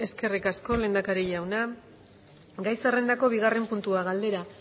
eskerrik asko lehendakari jauna gai zerrendako bigarren puntua galdera